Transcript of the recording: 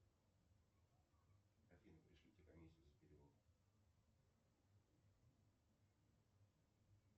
афина пришлите комиссию за перевод